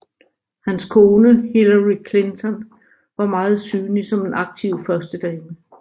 Hans kone Hillary Clinton var meget synlig som en aktiv førstedame